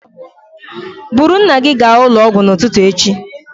Buru nna gị gaa ụlọ ọgwụ n'ụtụtụ echi